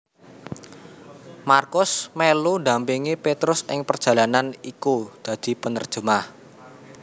Markus melu ndampingi Petrus ing perjalanan iku dadi penerjemah